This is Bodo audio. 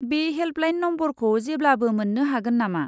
बे हेल्पलाइन नमबरखौ जेब्लाबो मोन्नो हागोन नामा?